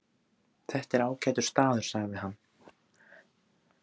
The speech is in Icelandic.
Þetta er ágætur staður sagði hann.